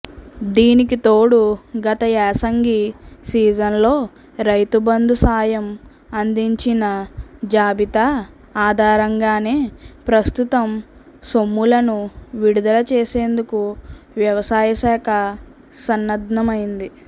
దీనికితోడు గత యాసంగి సీజన్లో రైతుబంధు సాయం అందించిన జాబితా ఆధారంగానే ప్రస్తుతం సొమ్ములను విడుదల చేసేందుకు వ్యవసాయశాఖ సన్నద్ధమైంది